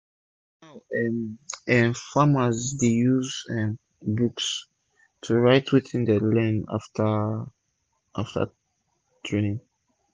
now um eh farmers dey use um books to write wetin dey learn afta training afta training